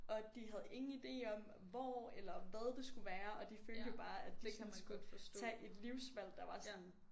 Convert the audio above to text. Og at de havde ingen idé om hvor eller hvad det skulle være og de følte jo bare at de sådan skulle tage et livsvalg der var sådan